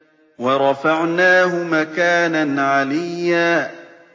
وَرَفَعْنَاهُ مَكَانًا عَلِيًّا